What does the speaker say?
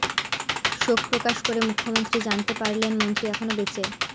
শোক প্রকাশ করে মুখ্য়মন্ত্রী জানতে পারলেন মন্ত্রী এখনও বেঁচে